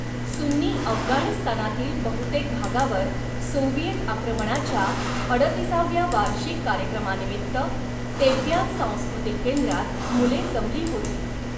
सुन्नी अफगाणिस्तानातील बहुतेक भागावर सोव्हिएत आक्रमणाच्या अडतिसाव्या वार्षिक कार्यक्रमानिमित्त तेब्यान सांस्कृतिक केंद्रात मुले जमली होती.